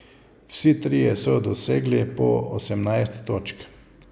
Vsi trije so dosegli po osemnajst točk.